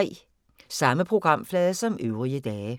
Samme programflade som øvrige dage